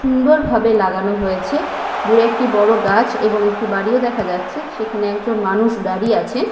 সুন্দরভাবে লাগানো হয়েছে দু একটি বড় গাছ এবং একটি বাড়িও দেখা যাচ্ছে সেখানে একজন মানুষ দাঁড়িয়ে আছেন।